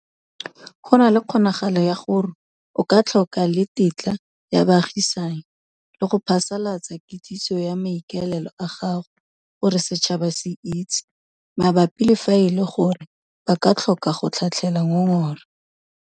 Go na le kgonagalo ya gore o ka tlhoka le tetla ya baagisani, le go phasalatsa kitsiso ya maikaelelo a gago gore setšhaba se itse, mabapi le fa e le gore ba ka tlhoka go tlhatlhela ngongora.